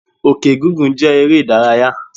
Òkè gígùn jẹ́ eré ìdárayá.